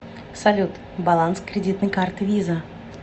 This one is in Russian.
салют баланс кредитной карты виза